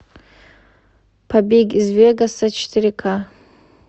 побег из вегаса четыре ка